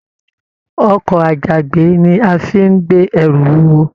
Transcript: Ọkọ àjàgbé ní a fí n gbé ẹrù wuwo.